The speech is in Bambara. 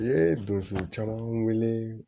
U ye donso caman wele